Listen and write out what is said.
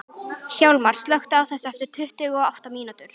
Hjalmar, slökktu á þessu eftir tuttugu og átta mínútur.